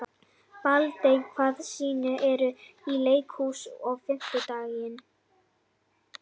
Baldey, hvaða sýningar eru í leikhúsinu á fimmtudaginn?